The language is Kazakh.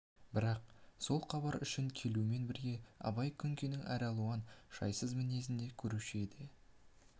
бірақ сол хабар үшін келумен бірге абай күнкенің әралуан жайсыз мінезін де көруші еді